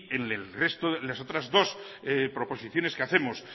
en las otras dos proposiciones que hacemos